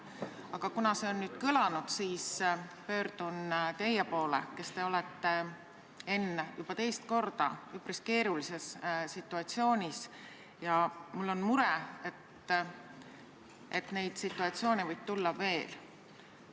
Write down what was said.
Aga kuna see on nüüd kõlanud, siis pöördun teie poole, Enn, kes te olete juba teist korda üpris keerulises situatsioonis ja mul on mure, et neid situatsioone võib tulla veel.